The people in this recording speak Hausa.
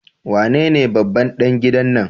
Wanene babban ɗan gidan nan?